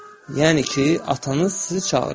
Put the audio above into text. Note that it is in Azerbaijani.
Yəni ki, atanız sizi çağırır.